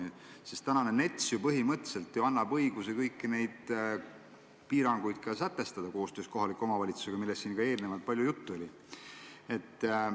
Täna kehtiv NETS annab ju põhimõtteliselt õiguse koostöös kohaliku omavalitsusega kõiki neid piiranguid sätestada, millest siin eelnevalt on palju juttu olnud.